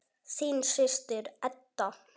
Þín systir, Edda.